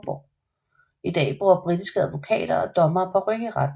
I dag bruger britiske advokater og dommere paryk i retten